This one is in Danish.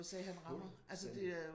Fuldstændig